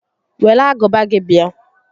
Were agụba gị bịa